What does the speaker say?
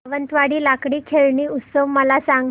सावंतवाडी लाकडी खेळणी उत्सव मला सांग